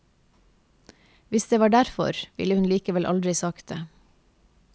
Hvis det var derfor, ville hun likevel aldri sagt det.